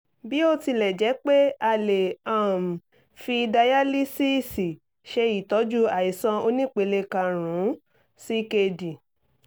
bí ó tilẹ̀ jẹ́ pé a lè um fi dayalísíìsì ṣe ìtọ́jú àìsàn onípele karùn-ún ckd